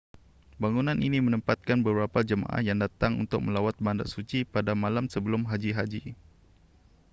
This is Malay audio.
bangunan ini menempatkan beberapa jemaah yang datang untuk melawat bandar suci pada malam sebelum haji haji